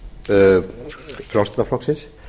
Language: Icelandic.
háttvirtir þingmenn frjálslynda flokksins